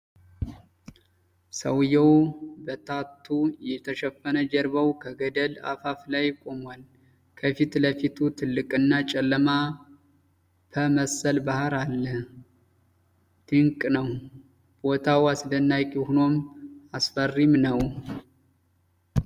ሰውየው በታቱ የተሸፈነ ጀርባው ከገደል አፋፍ ላይ ቆሟል። ከፊት ለፊቱ ትልቅና ጨለማ ፐመሰል ባህር አለ ። ድንቅ ነው! ቦታው አስደናቂ ሆኖም አስፈሪም ነው ።